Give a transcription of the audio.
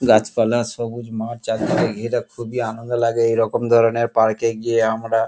গাছপালা সবুজমাঠ চারিদিকে ঘেরা খুবই আনন্দ লাগে এরকম ধরনের -এ গিয়ে আমরা--